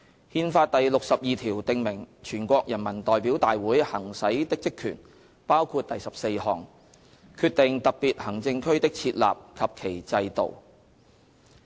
《憲法》第六十二條訂明全國人民代表大會行使的職權，包括第十四項："決定特別行政區的設立及其制度"。